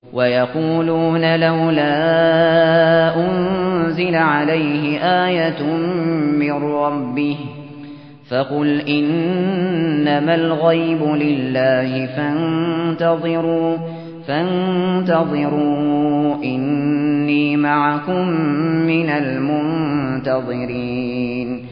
وَيَقُولُونَ لَوْلَا أُنزِلَ عَلَيْهِ آيَةٌ مِّن رَّبِّهِ ۖ فَقُلْ إِنَّمَا الْغَيْبُ لِلَّهِ فَانتَظِرُوا إِنِّي مَعَكُم مِّنَ الْمُنتَظِرِينَ